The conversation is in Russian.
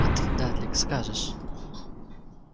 а ты дадлик скажешь